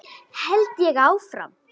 held ég áfram.